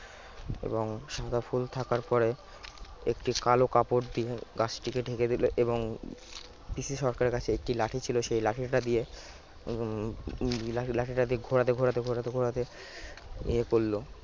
এবং সাদা ফুল থাকার পরে একটি কালো কাপড় দিয়ে গাছটিকে ঢেকে দিল এবং পিসি সরকারের কাছে একটি লাঠি ছিল সেই লাঠিটা দিয়ে হম হম লাঠিটা লাঠিটা দিয়ে ঘোরাতে ঘোরাতে ঘোরাতে ঘোরাতে ইয়ে করলো